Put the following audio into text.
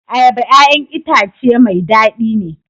Ayaba 'ya'yan itace mai dadi ne.